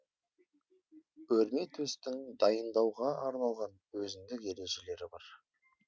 өрметөстің дайындауға арналған өзіндік ережелері бар